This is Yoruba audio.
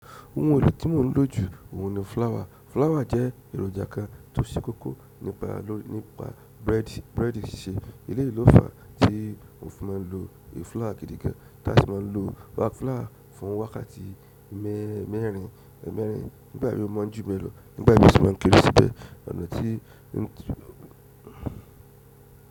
Ohun èlò tí mò ń lò jù óun ni flour. Flour jẹ́ èròjà kan tó se kókó nípa bread sisẹ́. Eleyi lo fà tí mo fi máa ń lo flour gidi gan, tí a sì máa ń lo flour fún wákàtí mẹ́rin mẹ́rin nígbà mi o mọ̀ n jù bẹ́ẹ̀ lọ nígbà mí ó sì máa ń kere síbẹ̀ ọ̀nà tí ń.